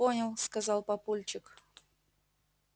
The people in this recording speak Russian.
понял сказал папульчик